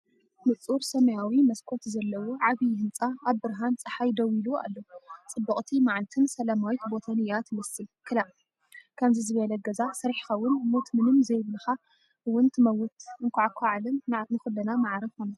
ንጹር ሰማያዊ መስኮት ዘለዎ ዓብይ ህንጻ ኣብ ብርሃን ጸሓይ ደው ኢሉ ኣሎ። ጽብቕቲ መዓልትን ሰላማዊት ቦታን እያ ትመስል። ክላእ... ከምዚ ዝበለ ገዛ ሰሪሕኻውን ሞት ምንም ዘይብላካ ውን ትመውት እንኳዕኳ ዓለም ንኹልና ማዕረ ኾነት...